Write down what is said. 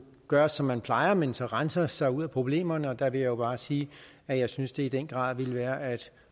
gøre som man plejer men så rense sig ud af problemerne og der vil jeg jo bare sige at jeg synes det i den grad ville være at